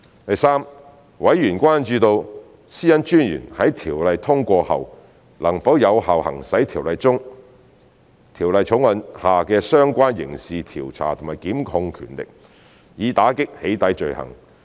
第三，委員關注到私隱專員在《條例草案》通過後能否有效行使《條例草案》下的相關刑事調查和檢控權力，以打擊"起底"罪行。